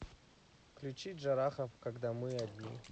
включи джарахов когда мы одни